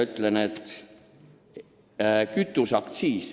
Selles on ka sõna "kütuseaktsiis".